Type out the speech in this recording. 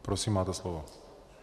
Prosím, máte slovo.